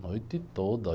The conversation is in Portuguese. A noite toda.